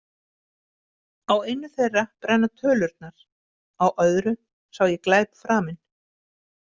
Á einu þeirra brenna tölurnar, á öðru sá ég glæp framinn.